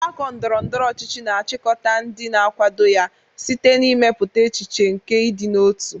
Mgbakọ ndọrọ ndọrọ ọchịchị na-achịkọta ndị na-akwado ya site n'ịmepụta echiche nke ịdị n'otu.